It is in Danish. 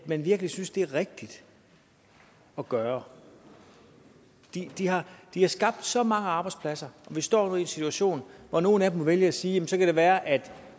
man virkelig synes det er rigtigt at gøre de har skabt så mange arbejdspladser og vi står i en situation hvor nogle af dem vælger at sige jamen så kan det være at